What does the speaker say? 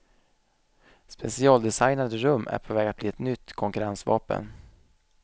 Specialdesignade rum är på väg att bli ett nytt konkurrensvapen.